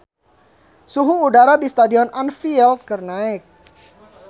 Suhu udara di Stadion Anfield keur naek